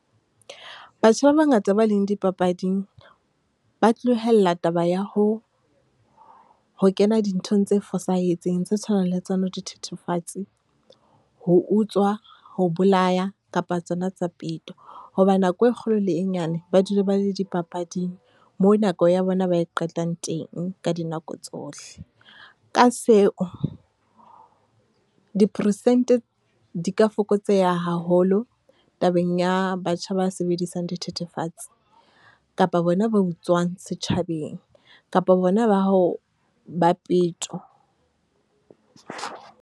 Batjha ba bangata ba leng dipapading, ba tlohella taba ya ho, ho kena dinthong tse fosahetseng tse tshwanang le tsona di thethefatse, ho utswa, ho bolaya kapa tsona tsa peto. Hoba nako e kgolo le e nyane ba dula ba le dipapading, moo nako ya bona ba e qetang teng ka dinako tsohle. Ka seo, diperesente di ka fokotseha haholo tabeng ya batjha ba sebedisang dithethefatsi, kapa bona ba utswang setjhabeng, kapa bona ba ho, ba peto.